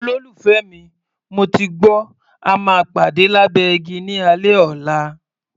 Olólùfẹ́ mi, mo ti gbọ́, a máa pàdé lábẹ́ igi ní alẹ́ ọ̀la.